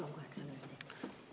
Palun kaheksa minutit!